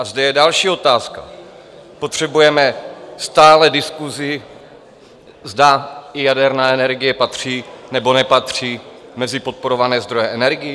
A zde je další otázka: Potřebujeme stále diskuzi, zda i jaderná energie patří, nebo nepatří mezi podporované zdroje energií?